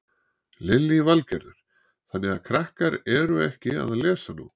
Lillý Valgerður: Þannig að krakkar eru ekki að lesa nóg?